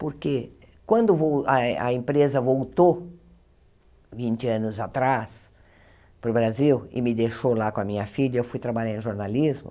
Porque quando vol a a empresa voltou, vinte anos atrás, para o Brasil, e me deixou lá com a minha filha, eu fui trabalhar em jornalismo,